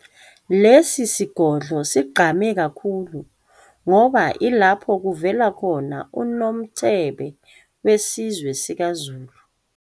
Lesi sigodlo sigqame kakhulu ngoba ilapha kuvela khona uNomthebe wesizwe sikaZulu.